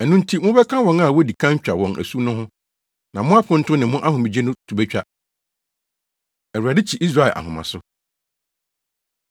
Ɛno nti, mobɛka wɔn a wodi kan twa wɔn asu no ho; na mo aponto ne mo ahomegye to betwa. Awurade Kyi Israel Ahomaso